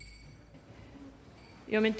jeg ville